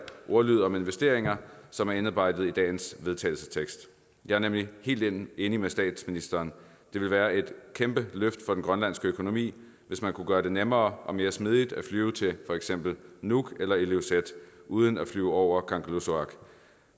ordlyden om investeringer som er indarbejdet i dagens vedtagelsestekst jeg er nemlig helt enig med statsministeren det ville være et kæmpe løft for den grønlandske økonomi hvis man kunne gøre det nemmere og mere smidigt at flyve til for eksempel nuuk eller ilulissat uden at flyve over kangerlussuaq